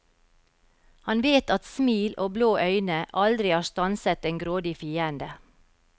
Han vet at smil og blå øyne aldri har stanset en grådig fiende.